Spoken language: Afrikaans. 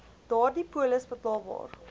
daardie polis betaalbaar